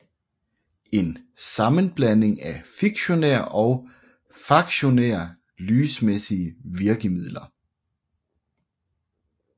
En sammenblanding af fiktionære og faktionære lysmæssige virkemidler